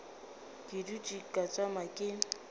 ke dutše ke tšama ke